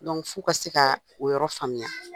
Dɔnku f'u ka se ka o yɔrɔ faamuya